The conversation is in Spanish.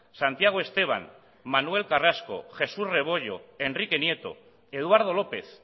santiago esteban manuel carrasco jesús rebollo enrique nieto eduardo lópez